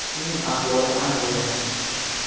Uning ahvoli ancha yaxshi.